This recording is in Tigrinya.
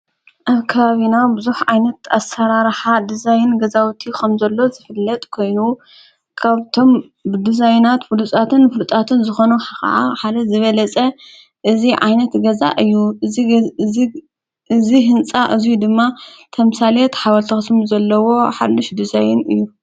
ኣብ ካባቢና ብዙኅ ዓይነት ኣሠራርኃ ድዛይን ገዛዊእቱ ኸም ዘሎት ዘፍለጥ ኮይኑ ካብቶም ብድዛይናት ብሉጻትን ፍሉጣትን ዝኾኖ ኸዓ ሓለ ዝበለጸ እዝ ዓይነት ገዛ እዩ እዝ ሕንጻ እዙይ ድማ ተምሣሌየት ሓዋልተኽስሚ ዘለዎ ሓልሽ ድዛይን እዩ።